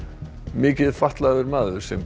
mikið fatlaður maður sem